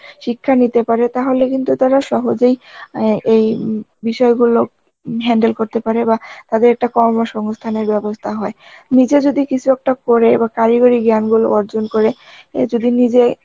শিক্ষা নিতে পারে তাহলে কিন্তু ওরা সহজেই এন এই বিষয়গুলো handle করতে পারে বা তাদের একটা কর্মসংস্থানের ব্যবস্থা হয়, নিজে যদি কিছু একটা করে বা করি গড়ি জ্ঞান গুলো অর্জন করে এ যদি নিজে